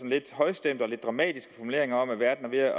lidt højstemte og lidt dramatiske formuleringer om at verden er ved at